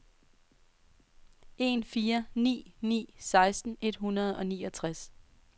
en fire ni ni seksten et hundrede og niogtres